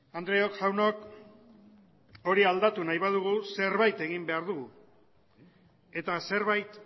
andreok jaunok hori aldatu nahi badugu zerbait egin behar dugu eta zerbait